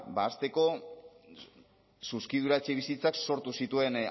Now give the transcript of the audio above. hasteko zuzkidura etxebizitzak sortu zituen